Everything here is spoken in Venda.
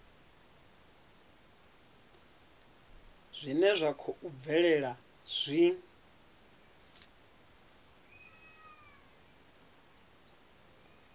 zwine zwa khou bvelela zwi